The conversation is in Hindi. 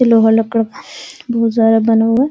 इ लोहा लक्कर बहुत ज्यादा बना हुआ --